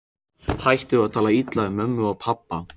Hættu að tala illa um mömmu og pabba!